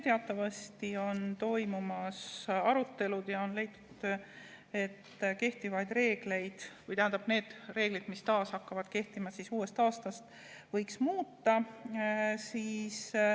Teatavasti on toimumas arutelud ja on leitud, et neid reegleid, mis taas hakkavad kehtima uuest aastast, võiks muuta.